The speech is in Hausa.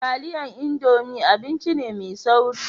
Taliyan indomi abinci ne mai sauri